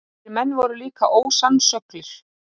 Þessir menn voru líka ósannsöglir.